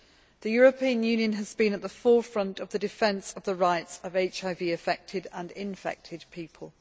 The European Union has been at the forefront of the defence of the rights of HIV affected and infected people.